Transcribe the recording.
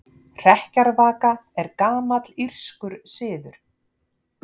Hrekkjavaka er gamall írskur siður.